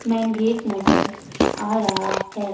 Main gate नजर आ रहा है।